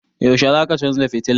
Yaushe zaka canza fitilan?